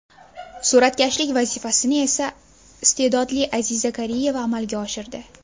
Suratkashlik vazifasini esa iste’dodli Aziza Kariyeva amalga oshirdi.